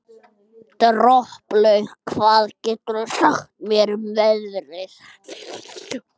Droplaug, hvað geturðu sagt mér um veðrið?